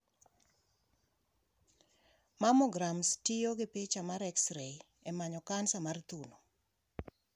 Mammograms tiyo gi picha mar x-ray emanyo kansa mar thuno.